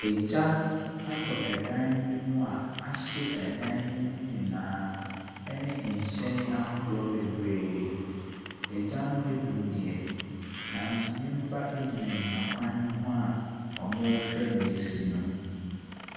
Agya atɔ dan bi mu a ahye dan no nyinaa ɛne nhyɛn ahodoɔ bebree. Agya no adum deɛ, nanso nnipa gyinagyina kwan ho a wɔreyɛ deɛ asi no.